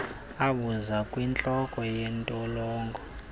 abuze kwintloko yentolongo